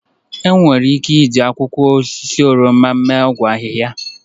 Enwere ike iji akwụkwọ osisi oroma mee ọgwụ ahịhịa.